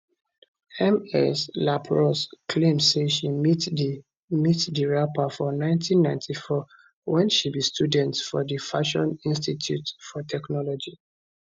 ms lampros claim say she meet di meet di rapper for 1994 wen she be student for di fashion institute for technology